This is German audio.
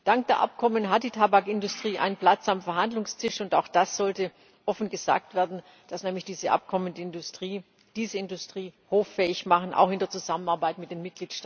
Dank der Abkommen hat die Tabakindustrie einen Platz am Verhandlungstisch, und auch das sollte offen gesagt werden, dass nämlich diese Abkommen diese Industrie hoffähig machen, auch in der Zusammenarbeit mit den